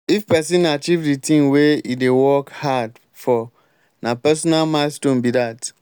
if pesin achieve de thing wey e dey work hard for na personal milestone be that.